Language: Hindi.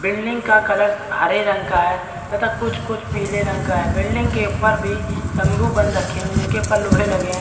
बिल्डिंग का कलर्स हरे रंग का है तथा कुछ कुछ पीले रंग का है बिल्डिंग के ऊपर भी तंबू बंद रखे हैं उनके उपर लोहे लगे है।